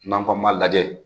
N'an ko an ma dɛ